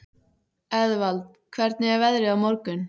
Eðvald, hvernig er veðrið á morgun?